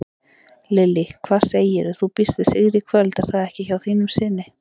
Lillý: Hvað segirðu, þú býst við sigri í kvöld er það ekki hjá þínum syni?